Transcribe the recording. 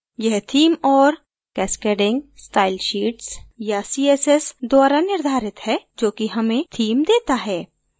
यह theme और cascading style sheets या css द्वारा निर्धारित है जो कि हमें theme देता है